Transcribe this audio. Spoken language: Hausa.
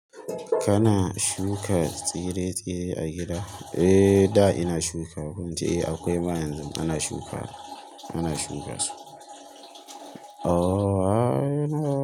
Kana shuka tsire-tsire a gida? Eh, da ina shuka, ko ince eh akwai ma yanzun ana shukawa, ana shuka su. Oh, a.